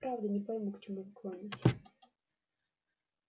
правда не пойму к чему вы клоните